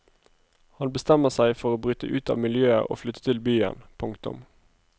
Han bestemmer seg for å bryte ut av miljøet og flytte til byen. punktum